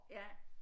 Ja